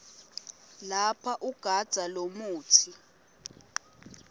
lapha ugandza lomutsi